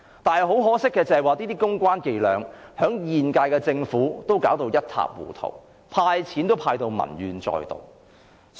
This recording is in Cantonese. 但是，很可惜，這些公關伎倆被現屆政府弄至一塌糊塗，"派錢"也落得民怨載道。